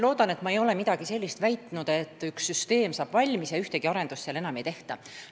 Loodetavasti ma ei ole midagi sellist väitnud, et üks süsteem saab valmis ja ühtegi arendust enam ei tehta.